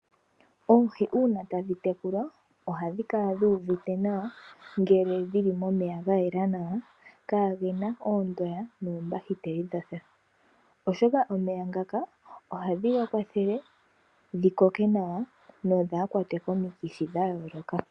Oohi uuna tadhi tekulwa ohadhi kala dhi uvite nawa ngele dhili momeya ga yela nawa. Kaagena oondoya noombahiteli dha sha. Oshoka omeya ngaka ohage dhi kwathele dhi koke nawa dho dhaa kwatwe komikithi dha yooloka.